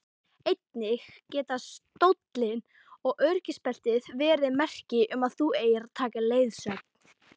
Einnig geta stóllinn og öryggisbeltin verið merki um að þú eigir að taka leiðsögn.